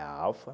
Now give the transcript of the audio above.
É a Alfa.